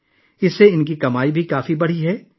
اس کے ذریعے ان کی آمدنی میں بھی کافی اضافہ ہوا ہے